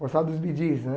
Gostava dos Bee Gees né.